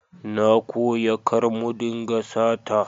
Na koya kar mu dinga sata